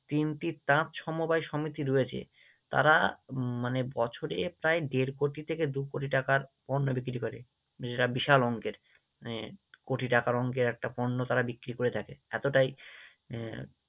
তিনটি তাঁত সমবায় সমিতি রয়েছে, তারা মানে বছরে প্রায় দেড় কোটি থেকে দু কোটি টাকার পণ্য বিক্রি করে, যেটা বিশাল অঙ্কের মানে কোটি টাকার অঙ্কের একটা পণ্য তারা বিক্রি করে থাকে, এতটাই আহ